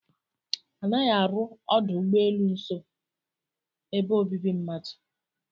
A naghị arụ ọdụ ụ́gbọ́elụ́ nso ebe obibi mmadu.